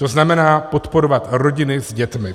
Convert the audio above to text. To znamená podporovat rodiny s dětmi.